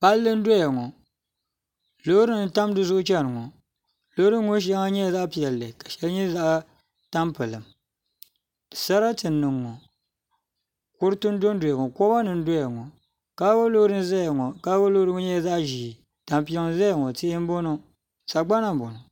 Palli n doya ŋɔ loori nim n tam dizuɣu chɛni ŋɔ loori nim ŋɔ shɛli nyɛla zaɣ piɛlli ka shɛli nyɛ zaɣ tampilim sarati n niŋ ŋɔ kuriti n dondoya ŋɔ koba nim n doya ŋɔ kaago loori n ʒɛya ŋɔ kaago loori ŋɔ nyɛla zaɣ ʒiɛ tampima n ʒɛya ŋɔ tihi n bɔŋɔ sagbana n bɔŋɔ